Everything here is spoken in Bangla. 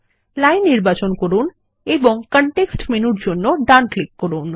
লাইন নির্বাচন করুন এবং কনটেক্সট মেনুর জন্য ডান ক্লিক করুন